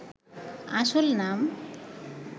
আসল নাম